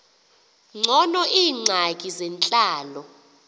ngcono iingxaki zentlalo